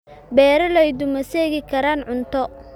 Beeraleydu ma seegi karaan cunto